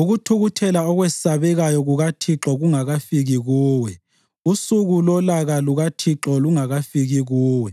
ukuthukuthela okwesabekayo kukaThixo kungakafiki kuwe, usuku lolaka lukaThixo lungakafiki kuwe.